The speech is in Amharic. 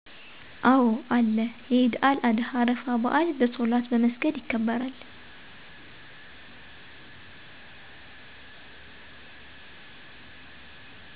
አዎ አለ የኢደል አደሀ አረፋ በዐል በሶላት በመሰገድ የከበራል